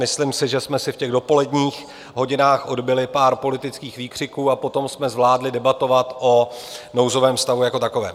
Myslím si, že jsme si v těch dopoledních hodinách odbyli pár politických výkřiků a potom jsme zvládli debatovat o nouzovém stavu jako takovém.